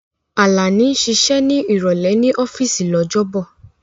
Alani ń ṣiṣẹ́ ní ìrọ̀lẹ́ ní ọ́fíìsì lọ́jọ́bọ̀.